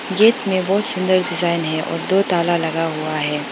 Gate में बहुत सुंदर डिजाइन है और दो ताला लगा हुआ है।